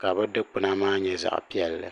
ka bi dikpuna maa nyɛ zaɣ piɛlli